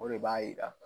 O de b'a jira